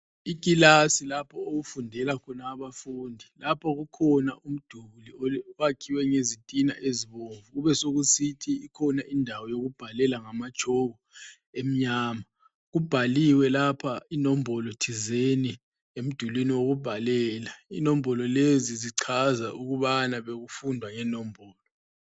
Ikilasi lapho okufundela khona abafundi ,lapho kukhona umduli owakhiwe ngezitina ezibomvu kubesokusithi ikhona indawo yokubhalela ngamatshoko emnyama. Kubhaliwe lapha inombolo thizeni emdulwini wokubhalela ,inombolo lezo zichaza ukubana bekufundwa ngenombolo